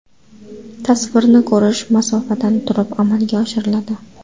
Tasvirni ko‘rish masofadan turib amalga oshiriladi.